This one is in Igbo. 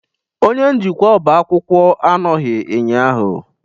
Onye njikwa ọba akwụkwọ anọghị ụnyahụ.